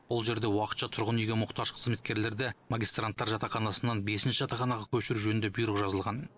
ол жерде уақытша тұрғын үйге мұқтаж қызметкерлерді магистранттар жатақханасынан бесінші жатақханаға көшіру жөнінде бұйрық жазылған